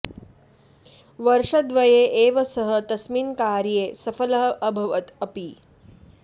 वर्षद्वये एव सः तस्मिन् कार्ये सफलः अभवत् अपि